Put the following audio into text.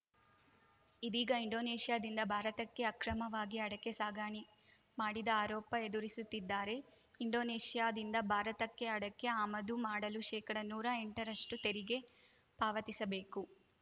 ಇದೀಗ ಇಂಡೋನೇಷ್ಯಾದಿಂದ ಭಾರತಕ್ಕೆ ಅಕ್ರಮವಾಗಿ ಅಡಕೆ ಸಾಗಣೆ ಮಾಡಿದ ಆರೋಪ ಎದುರಿಸುತ್ತಿದ್ದಾರೆ ಇಂಡೋನೇಷ್ಯಾದಿಂದ ಭಾರತಕ್ಕೆ ಅಡಕೆ ಆಮದು ಮಾಡಲು ಶೇಕಡನೂರಾ ಎಂಟರಷ್ಟುತೆರಿಗೆ ಪಾವತಿಸಬೇಕು